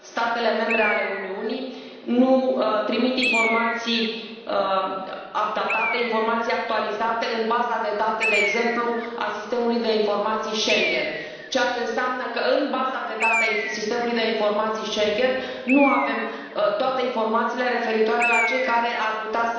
statele membre ale Uniunii nu trimit informații actualizate în baza de date, de exemplu a sistemului de informații Schengen ceea ce înseamnă că în baza de date a sistemului de informații Schengen nu avem toate informațiile referitoare la cei care ar putea